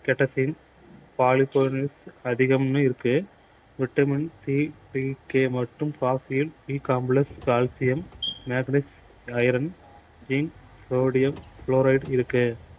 catechin அதிகமுன்னு இருக்கு vitamin C B K மற்றும் coffee யில் B complex calcium manganese iron zinc sodium fluoride இருக்கு